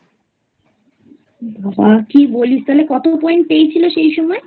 বাবা কী বলিস তাহলে কত Point পেয়েছিল সেই সময়?